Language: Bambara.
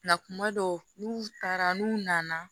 kuma dɔw n'u taara n'u nana